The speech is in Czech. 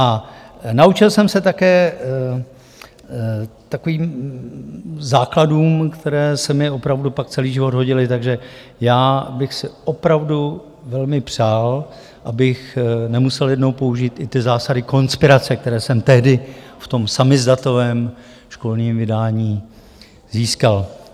A naučil jsem se také takovým základům, které se mi opravdu pak celý život hodily, takže já bych si opravdu velmi přál, abych nemusel jednou použít i ty zásady konspirace, které jsem tehdy v tom samizdatovém školním vydání získal.